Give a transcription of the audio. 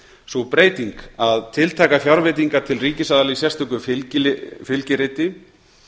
sú breyting að tiltaka fjárveitingar til ríkisaðila í sérstöku fylgiriti